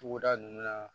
Togoda nunnu na